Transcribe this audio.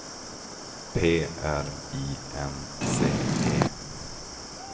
P R I N C E